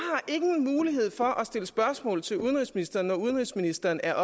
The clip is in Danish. ingen mulighed for at stille spørgsmål til udenrigsministeren når udenrigsministeren er